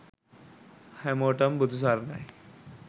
හැමෝටම බුදු සරණයි